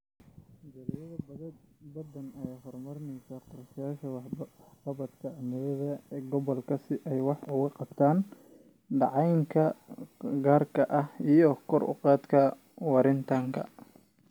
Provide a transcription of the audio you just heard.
Jaaliyado badan ayaa horumarinaya qorshayaasha waxqabadka cimilada ee gobolka si ay wax uga qabtaan dayacanka gaarka ah iyo kor u qaadida waaritaanka.